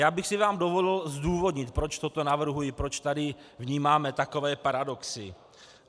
Já bych si vám dovolil zdůvodnit, proč to navrhuji, proč tady vnímáme takové paradoxy.